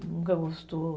Nunca gostou.